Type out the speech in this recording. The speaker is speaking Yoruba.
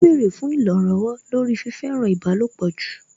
Ó bẹ̀rẹ̀ fún ìrànlọ̀wọ̀ lórí fífẹ́ràn ìbálòpọ̀ jù